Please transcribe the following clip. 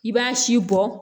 I b'a si bɔ